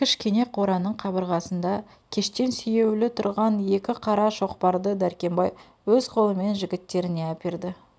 кішкене қораның қабырғасында кештен сүйеулі тұрған екі қара шоқпарды дәркембай өз қолымен жігіттеріне әперді